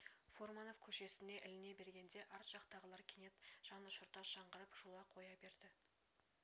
фурманов көшесіне іліне бергенде арт жақтағылар кенет жанұшырта шыңғырып шулап қоя берді